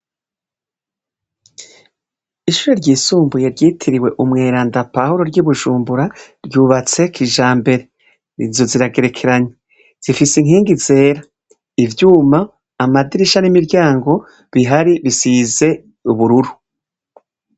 Ishuri ry'isumbuye ryitiriwe umweranda Pawuro ryi Bujumbura ryuvatse kijambere inzu ziragerekeranye zifise inkingi zera ivyuma, amadirisha n'imiryango bihari bisize ubururu